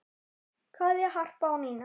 Kveðja, Harpa og Nína.